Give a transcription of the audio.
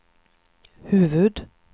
huvud-